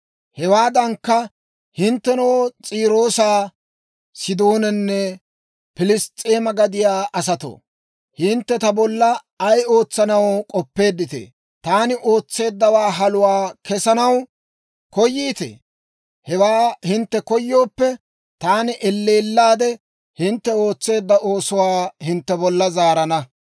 «Hewaadankka, Hinttenoo, S'iiroosa, Sidoonanne Piliss's'eema gadiyaa asatoo, hintte ta bolla ay ootsanaw k'oppeeditee? Taani ootseeddawaa haluwaa kessanaw koyiitee? Hewaa hintte koyooppe, taani elleellaadde hintte ootseedda oosuwaa hintte bolla zaarana.